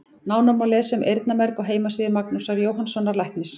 Nánar má lesa um eyrnamerg á heimasíðu Magnúsar Jóhannssonar læknis.